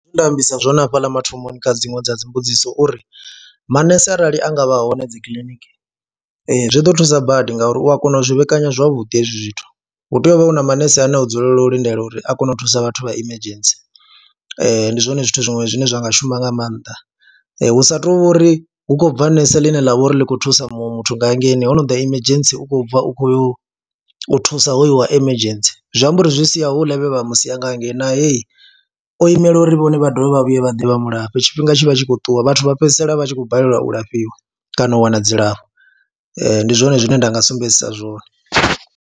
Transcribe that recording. Zwine nda ambisa zwone hafhaḽa mathomoni kha dziṅwe dza dzi mbudziso uri manese arali a nga vha hone dzi kiḽiniki zwi ḓo thusa badi ngauri u a kona u zwi vhekanya zwavhuḓi hezwi zwithu, hu tea u vha hu na manese ane o dzulela u lindela uri a kone u thusa vhathu vha emergency, ndi zwone zwithu zwiṅwe zwine zwa nga shuma nga maanḓa hu sa tou uri hu khou bva nese ḽine ḽa vha uri ḽi khou thusa muṅwe muthu nga hangeini ho no ḓa emergency u khou bva u khou yo thusa hoyu wa emergency, zwi amba uri zwi sia houḽa vhe vha mu siya nga hangei nae o imela uri vhone vha dovhe vha vhuye vha ḓe vha mu lafhe, tshifhinga tshi vha tshi khou ṱuwa, vhathu vha fhedzisela vha tshi khou balelwa u lafhiwa kana u wana dzilafho ndi zwone zwine nda nga sumbedzisa zwone.